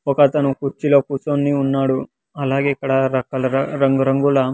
ఒకతను కుర్చిలో కూర్చొని ఉన్నాడు అలాగే ఇక్కడ రాక-- రంగు రంగుల--